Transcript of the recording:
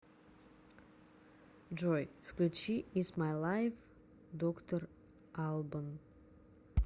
джой включи итс май лайф доктор албан